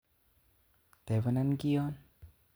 Tebenan kiyoon